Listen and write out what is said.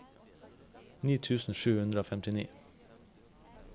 ni tusen sju hundre og femtini